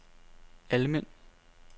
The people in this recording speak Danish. Almind